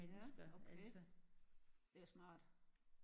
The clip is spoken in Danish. Ja okay det er smart